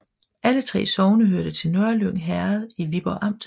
Alle 3 sogne hørte til Nørlyng Herred i Viborg Amt